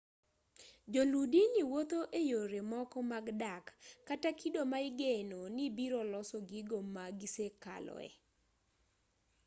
joluu dini wuotho eyore moko mag dak kata kido ma igeno ni biro loso gigo ma gisekaloe